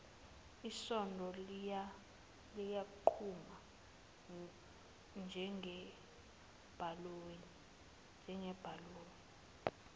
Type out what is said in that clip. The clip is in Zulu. isondo liyaqhuma njengebhaluni